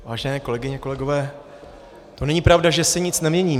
Vážené kolegyně, kolegové, to není pravda, že se nic nemění.